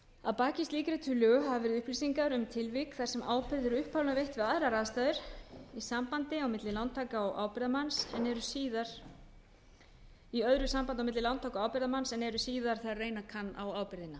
að baki slíkri tillögu hafa verið upplýsingar um tilvik þar sem ábyrgð er upphaflega veitt við aðrar aðstæður í sambandi á milli lántaka og ábyrgðarmanns en eru síðar þegar reyna kann á ábyrgðina